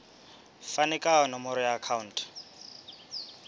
fane ka nomoro ya akhauntu